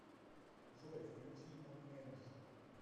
джой включи мон энж